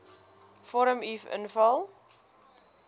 vorm uf invul